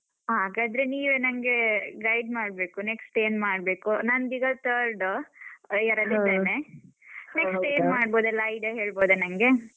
ಹಾಗಾದ್ರೆ ನೀವೆ ನಂಗೆ guide ಮಾಡ್ಬೇಕು, next ಏನ್ ಮಾಡ್ಬೇಕು? ನಂದೀಗ third year ಅಲ್ಲಿದೇನೆ, next ಏನ್ ಮಾಡ್ಬೋದು ಎಲ್ಲ idea ಹೇಳ್ಬೋದಾ ನಂಗೆ?